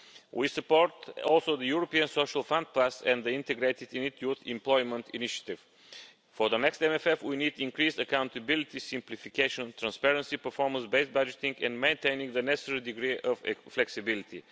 We support also the European Social Fund Plus and the integrated Youth Employment Initiative. For the next MFF, we need to increase accountability, simplification, transparency, performance based budgeting and maintaining the necessary degree of flexibility.